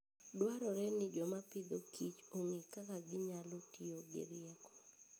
Dwarore ni joma Agriculture and Food ong'e kaka ginyalo tiyo gi rieko.